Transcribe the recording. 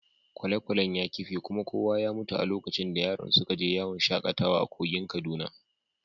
Kwale-kwalen ya kife kuma kowa ya mutu a lokacin da yaran suka je yawon shakatawa a kogin Kaduna.